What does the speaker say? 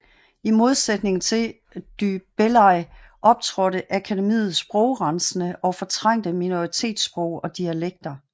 I modsætning til du Bellay optrådte akademiet sprogrensende og fortrængte minoritetssprog og dialekter